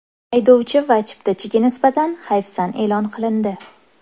Haydovchi va chiptachiga nisbatan hayfsan e’lon qilindi.